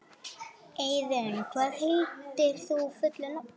Eiðunn, hvað heitir þú fullu nafni?